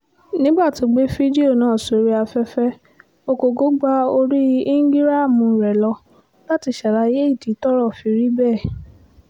nígbà tó gbé fídíò náà sórí afẹ́fẹ́ ogógó gba orí íńgíráàmù rẹ̀ lọ láti ṣàlàyé ìdí tọ́rọ̀ fi rí bẹ́ẹ̀